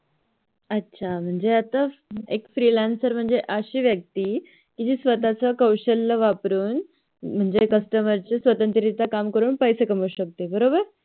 अच्छा म्हणजे Freelancer म्हणजे अशी व्यक्ती जी आपलं कौशल्य वापरून म्हणजे Customer शी स्वतंत्र रित्या करून पैसे कमाऊ शकते बरोबर